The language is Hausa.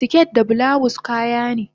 siket da bulawus kayane